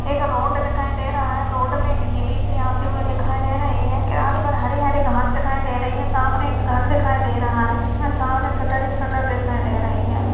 एक रोड दिखाई दे रहा है रोड पे एक जे.बी.सी आती हुई दिखाई दे रही है किनारे हरे हरे घास दिखाई दे रही है सामने एक घर दिखाई दे रहा है जिसमे सामने शटर ही शटर दिखाई दे रहे हैं।